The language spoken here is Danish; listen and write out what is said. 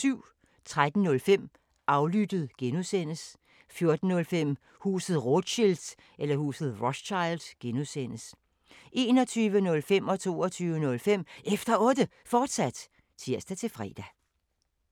13:05: Aflyttet G) 14:05: Huset Rothschild (G) 21:05: Efter Otte, fortsat (tir-fre) 22:05: Efter Otte, fortsat (tir-fre)